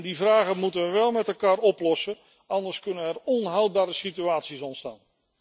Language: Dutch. Die vragen moeten we wel met elkaar oplossen, anders kunnen er onhoudbare situaties ontstaan.